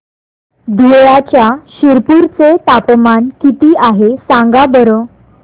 धुळ्याच्या शिरपूर चे तापमान किता आहे सांगा बरं